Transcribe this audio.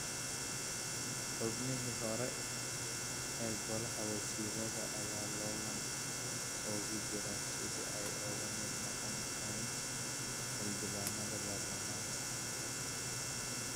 Xubnihii hore ee Golaha Wasiirada ayaa loolan ugu jira sidii ay uga mid noqon lahaayeen Xildhibaanada Baarlamaanka.